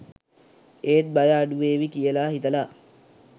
ඒත් බය අඩුවේවි කියලා හිතලා